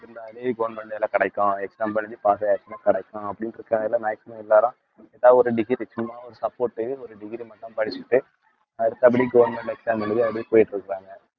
இருந்தாலே government வேலை கிடைக்கும் exam எழுதி pass ஆயிருச்சுன்னா கிடைக்கும் அப்பிடிண்டு இருக்காங்கல்ல maximum எல்லாரும் ஏதாவது ஒரு degree சும்மா ஒரு support ஒரு degree மட்டும் படிச்சுட்டு அடுத்துபடி government exam எழுதி அப்படியே போயிட்டு இருக்குறாங்க